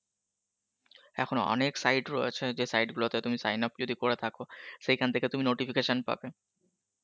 এখন অনেক site রয়েছে যেই site গুলোতে তুমি sign up যদি করে থাকো সেই খান থেকে তুমি notification পাবে